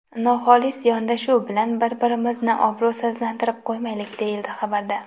Noxolis yondashuv bilan bir-birimizni obro‘sizlantirib qo‘ymaylik”, deyiladi xabarda.